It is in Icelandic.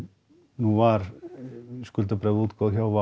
nú var skuldabréfaútboð hjá